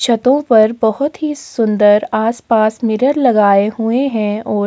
छतों पर बहोत ही सुंदर आस-पास मिरर लगाए हुएं हैं ओर --